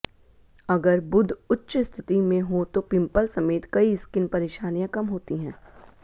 अगर बुध उच्च स्थिति में हो तो पिम्पल समेत कई स्किन परेशानियां कम होती हैं